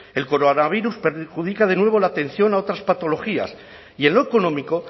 el coronavirus perjudica de nuevo la atención a otras patologías y en lo económico